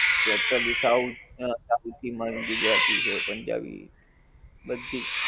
totally south પછી ગુજરાતી છે, પંજાબી બધીજ.